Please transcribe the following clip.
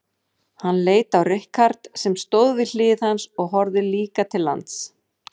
Hann leit á Richard sem stóð við hlið hans og horfði líka til lands.